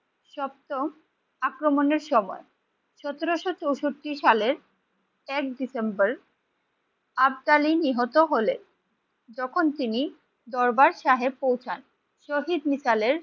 সপ্তম আক্রমণের সময় সতেরোশো চৌষট্টি সালের এক ডিসেম্বর নিহত হলে তখন তিনি দরবার সাহেব পৌঁছান। শহীদ মিসালের